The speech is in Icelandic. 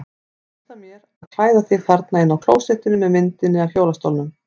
Þú veist af mér að klæða mig þarna inni á klósettinu með myndinni af hjólastólnum.